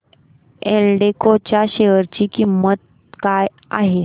एल्डेको च्या शेअर ची किंमत काय आहे